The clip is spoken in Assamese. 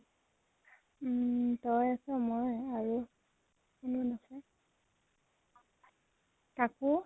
উম । তই আছʼ মই আৰু চুমন আছে। কাকু?